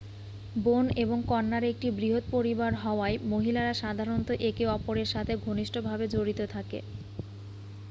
বোন এবং কন্যার একটি বৃহৎ পরিবার হওয়ায় মহিলারা সাধারণত একে অপরেরসাথে ঘনিষ্ঠভাবে জড়িত থাকে